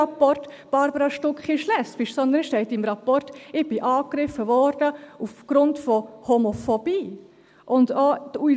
«Barbara Stucki ist lesbisch», sondern im Rapport steht, ich sei aufgrund von Homophobie angegriffen worden.